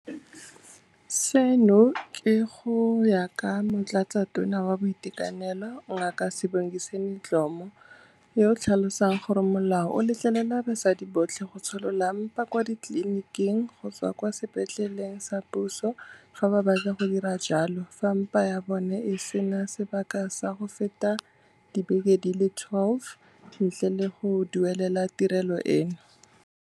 Seno ke go ya ka Motlatsatona wa Boitekanelo Ngaka Sibongiseni Dhlomo, yo a tlhalosang gore molao o letlelela basadi botlhe go tsholola mpa kwa tleliniking kgotsa kwa sepetleleng sa puso fa ba batla go dira jalo fa mpa ya bona e se na sebaka sa go feta dibeke di le 12, ntle le go duelela tirelo eno.